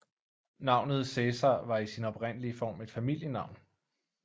Navnet Cæsar var i sin oprindelige form et familienavn